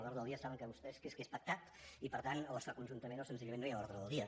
l’ordre del dia saben vostès que és pactat i per tant o es fa conjuntament o senzillament no hi ha ordre del dia